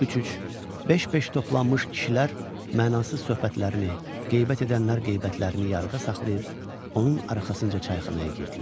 Üç-üç, beş-beş toplanmış kişilər mənasız söhbətlərini, qeybət edənlər qeybətlərini yarıda saxlayıb, onun arxasınca çayxanaya girdilər.